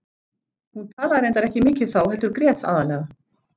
Hún talaði reyndar ekki mikið þá heldur grét aðallega.